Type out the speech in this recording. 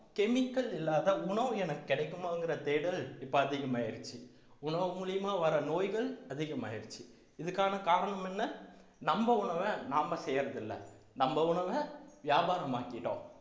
chemical இல்லாத உணவு எனக்கு கிடைக்குமாங்கிற தேடல் இப்ப அதிகமாயிருச்சு உணவு மூலியமா வர்ற நோய்கள் அதிகமாயிருச்சு இதுக்கான காரணம் என்ன நம்ம உணவை நாம செய்யறதில்ல நம்ம உணவை வியாபாரமாக்கிட்டோம்